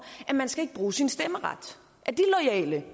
at man ikke skal bruge sin stemmeret